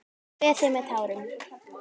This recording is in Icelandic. Ég kveð þig með tárum.